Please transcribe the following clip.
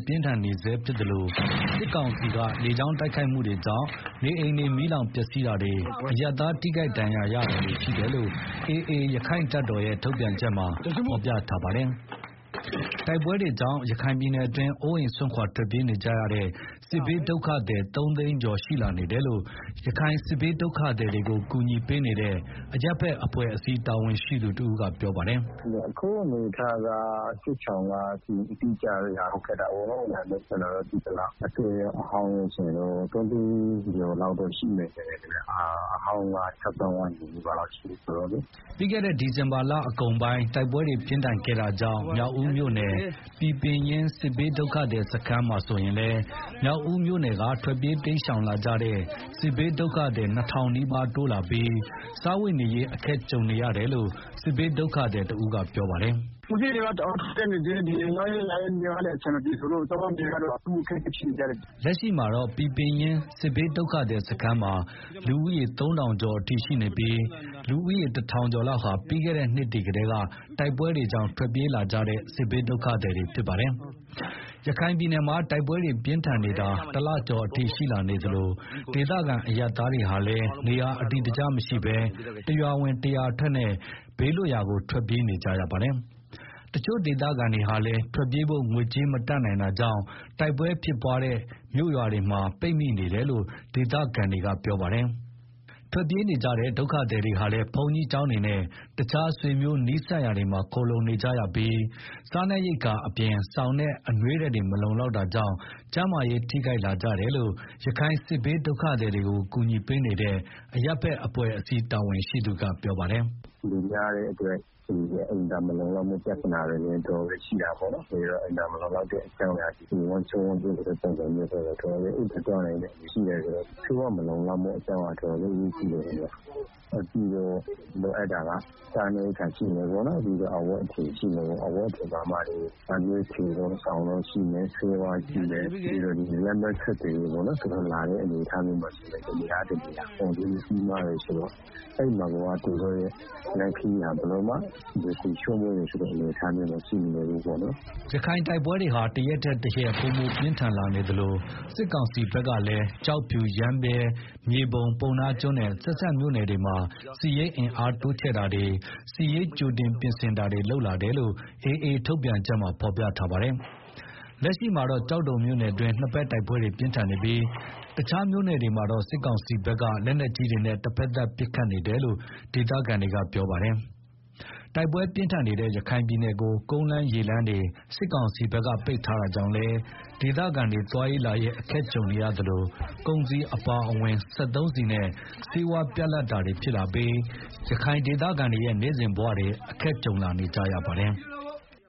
ပြင်းထန်နေဆဲဖြစ်သလို စစ်ကောင်စီ လေကြောင်းတိုက်ခိုက်မှုတွေကြောင့် နေအိမ်တွေ မီးလောင် ပျက်စီးတာတွေ၊ အရပ်သားထိခိုက်ဒဏ်ရာရတာတွေရှိတယ်လို့ AA ရက္ခိုင့်တပ်တော်ရဲ့ထုတ်ပြန်ချက်မှာ ဖော်ပြထားပါတယ်။ တိုက်ပွဲတွေကြောင့် ရခိုင်ပြည်နယ်တွင်း အိုးအိမ်စွန်ခွာထွက်ပြေးနေကြရတဲ့ စစ်ဘေးဒုက္ခသည် ၃ သိန်းကျော်အထိရှိလာနေတယ်လို့ ရခိုင်စစ်ဘေးဒုက္ခသည်တွေကို ကူညီပေးနေတဲ့ အရပ်ဘက်အဖွဲ့အစည်း တာဝန်ရှိသူတဦးက ပြောပါတယ်။ “အခုအနေအထားက စစ်ဘေးဒုက္ခသည်တွေက အတိအကျရဖို့ ခက်တာပေါ့နော်။ ဒါပေမယ့် ကျနော်တို့ သိသလောက် အသစ်ရော အဟောင်းရောဆိုရင်တော့ ၃ သိန်းကျော်လောက် ရှိမယ်ထင်တယ်။ အဟောင်းက ၆ သောင်းဝန်းကျင်လောက်ရှိတာဆိုတော့လေ။” ပြီးခဲ့တဲ့နှစ် ဒီဇင်ဘာလကုန်ပိုင်း တိုက်ပွဲတွေပြင်းထန်ခဲ့တာကြောင့် မြောက်ဦးမြို့နယ် ပီပင်ရင်းစစ်ဘေးဒုက္ခသည်စခန်းမှာဆိုရင်လည်း မြောက်ဦးမြို့နယ်က ထွက်ပြေးတိမ်းရှောင် လာကြတဲ့ စစ်ဘေးဒုက္ခသည် ၂ ထောင်နီးပါးတိုးလာပြီး စားဝတ်နေရေး အခက်ကြုံနေရတယ်လို့ စစ်ဘေးဒုက္ခသည်တဦးကပြောပါတယ်။ “ကုန်စျေးတွေက တအားထိုးတက်နေတယ်။ သွားရေး လာရေးကလည်း အဆင်မပြေဆိုတော့ စားဝတ်နေရေးကတော့ အထူးအခက်အခဲဖြစ်နေကြတယ်။” လက်ရှိမှာတော့ ပီပင်ရင်း စစ်ဘေးဒုက္ခသည်စခန်းမှာ လူဦးရေ ၃ ထောင်ကျော်အထိရှိ နေပြီး လူဦးရေတထောင်ကျော်လောက်ဟာ ပြီးခဲ့တဲ့နှစ်တွေကတည်းက တိုက်ပွဲတွေကြောင့် ထွက်ပြေးလာကြတဲ့စစ်ဘေးဒုက္ခသည်တွေဖြစ်ပါတယ်။ ရခိုင်ပြည်နယ်မှာ တိုက်ပွဲတွေပြင်းထန်နေတာ တလကျော်အထိ ရှိလာနေသလို ဒေသခံအရပ်သားတွေဟာလည်း နေရာအတည်တကျမရှိ တရွာဝင်တရွာထွက်နဲ့ ဘေးလွတ်ရာကို ထွက်ပြေးနေကြရတာပါ။ တချို့ဒေသခံတွေဟာလည်း ထွက်ပြေးဖို့ ငွေကြေးမတတ်နိုင်တာကြောင့် တိုက်ပွဲဖြစ်ပွားနေတဲ့ မြို့ရွာတွေမှာ ပိတ်မိနေကြတယ်လို့ ဒေသခံတွေက ပြောပါတယ်။ ထွက်ပြေးနေကြတဲ့ ဒုက္ခသည်တွေဟာလည်း ဘုန်းကြီးကျောင်းတွေနဲ့ တခြားဆွေမျိုးနီးစပ် နေရာတွေမှာ ခိုလှုံနေကြရပြီး စားနပ်ရိက္ခာအပြင် စောင်နဲ့အနွေးထည်တွေ မလုံလောက် တာကြောင့် ကျန်းမာရေးထိခိုက်လာကြတယ်လို့ ရခိုင်စစ်ဘေးဒုက္ခသည်တွေကို ကူညီပေးနေတဲ့ အရပ်ဘက်အဖွဲ့အစည်း တာဝန်ရှိသူတဦးကပြောပါတယ်။ “လူများတဲ့အတွက် အိမ်သာမလုံလောက်မှုပြဿနာတွေ တော်တော်ရှိတယ်။ ဝမ်းပျက်ဝမ်း လျောဖြစ်ကြတာတွေလည်းရှိတယ်။ ဆေးဝါးမလုံလောက်တာတွေလည်း တော်တော် အရေးကြီးတယ်။ နောက်ပြီးတော့ လိုအပ်တာက စားနပ်ရိက္ခာရှိမယ်ပေါ့နော်။ အဝတ်အ ထည်တို့၊ စောင်တို့ရှိမယ်၊ ဆေးဝါးရှိမယ်၊ ပြီးတော့ လမ်းပန်းဆက်သွယ်ရေး သူတို့လာတဲ့ အနေအထား တနေရာက တနေရာကို သွားတဲ့ အခါ လမ်းစရိတ်ကြီးမား တယ်ဆိုတော့ သူတို့လမ်းခရီးဟာဘယ်လိုမှ လွယ်ကူချောမွေ့တယ်ဆိုတာမရှိပါဘူး။” ရခိုင်တိုက်ပွဲတွေဟာ တရက်ထက်တရက် ပိုမိုပြင်းထန်လာနေသလို စစ်ကောင်စီကလည်း ကျောက်ဖြူ၊ ရမ်းဗြဲ၊ မြေပုံ၊ ပုဏ္ဏားကျွန်းနဲ့ ဆက်စပ်မြို့နယ်တွေမှာ စစ်ရေးအင်အားတိုးချဲ့တာတွေ၊ စစ်ရေး ကြိုတင်ပြင်ဆင်တာတွေ လုပ်လာတယ်လို့ AA ထုတ်ပြန်ချက်မှာ ဖော်ပြထားပါတယ်။ လက်ရှိမှာတော့ ကျောက်တော်မြို့နယ်တွင်း နှစ်ဘက်တိုက်ပွဲ ပြင်းထန်နေပြီး တခြားမြို့နယ်တွေမှာတော့ စစ်ကောင်စီဘက်က လက်နက်ကြီးတွေနဲ့ တဘက်သတ်ပစ်ခတ်နေတယ်လို့ ဒေသခံတွေက ပြောဆိုကြပါတယ်။ တိုက်ပွဲပြင်းထန်နေတဲ့ ရခိုင်ပြည်နယ်ကို ကုန်းလမ်းရေလမ်းတွေ စစ်ကောင်စီက ပိတ် ထားတာကြောင့်လည်း၊ ဒေသခံတွေ သွားရေးလာရေးအခက်ကြုံနေရသလို ကုန်စည်အပါအဝင် စက်သုံးဆီနဲ့ ဆေးဝါး ပြတ်လပ်တာတွေဖြစ်လာပြီး ရခိုင်ဒေသခံတွေရဲ့ နေ့စဉ်ဘဝတွေ အခက်ကြုံနေကြရပါတယ်။